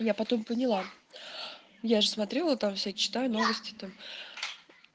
я потом поняла я же смотрела там все читаю новости там